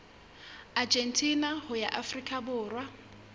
argentina ho ya afrika borwa